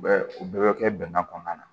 U bɛ u bɛɛ bɛ kɛ bɛnkan kɔnɔna na